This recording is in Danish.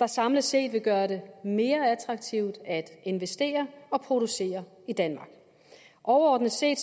der samlet set vil gøre det mere attraktivt at investere og producere i danmark overordnet set